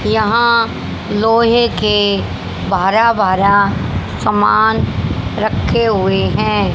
यहां लोहे के सामान रखे हुए हैं।